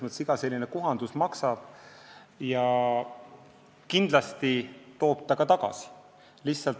Iga selline kohandus maksab, aga kindlasti toob ta ka raha tagasi.